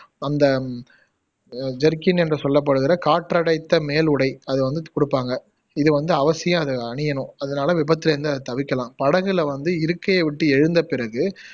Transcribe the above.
அந்த அஹ் ஜெர்கின் என்று சொல்லப்படுகிற காற்றடைத்த மேலுடை அத வந்து குடுப்பாங்க இத வந்து அவசியம் அதை அணியணும் அதனால விபத்துல இருந்து அதை தவிர்கலாம் படகுல வந்து இருக்கையை விட்டு எழுந்த பிறகு